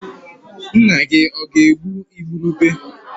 Nna-gi ọ̀ ga-egbu igurube?